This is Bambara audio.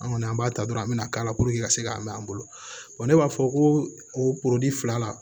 An kɔni an b'a ta dɔrɔn an bɛna k'a la puruke ka se ka mɛn an bolo ne b'a fɔ ko o fila la